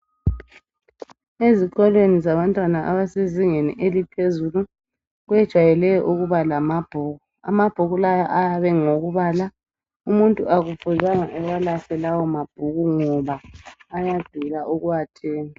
Ezikolweni zabantwana abasezingeni eliphezulu kwejayele ukuba lamabhuku. Amabhuku lawa ayabe ngowokubala. Umuntu akufuzanga awalahle lawo mabhuku ngoba ayadula ukuwathenga.